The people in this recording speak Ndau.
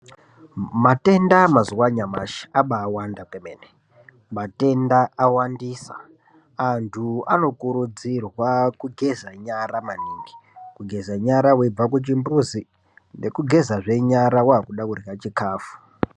Matenda yemazuva nyamashi aba wanda kwemene matenda awandisa antu anokurudzirwa kugeza nyara maningi kugeza nyara veibva kuchimbuzi ngekugeza zvenyara wakuda kurya chikafu.